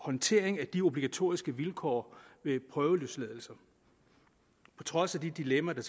håndtering af de obligatoriske vilkår ved prøveløsladelser på trods af de dilemmaer der